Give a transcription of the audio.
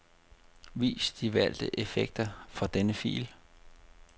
Vis de valgte effekter for denne fil.